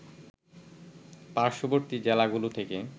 পার্শ্ববর্তী জেলাগুলো থেকে